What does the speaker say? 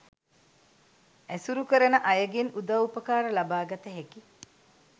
ඇසුරු කරන අයගෙන් උදව් උපකාර ලබාගත හැකි